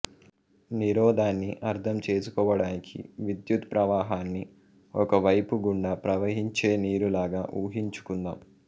నిరోధాన్ని అర్థం చేసుకోవడానికి విద్యుత్ ప్రవాహాన్ని ఒక పైపు గుండా ప్రవహించే నీరులాగా ఊహించుకుందాం